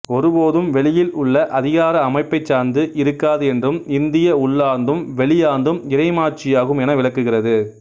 ஒருபோதும் வெளியில் உள்ள அதிகார அமைப்பை சார்ந்து இருக்காது என்றும் இந்திய உள்ளார்ந்தும் வெளியார்ந்தும் இறைமாட்சியாகும் என விளக்குகிறது